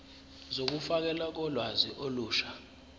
zokufakelwa kolwazi olusha